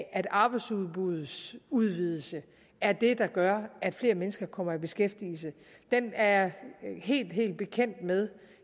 at arbejdsudbuddets udvidelse er det der gør at flere mennesker kommer i beskæftigelse er jeg helt helt bekendt med